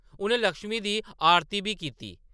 उʼनें लक्ष्मी दी आरती बी कीती।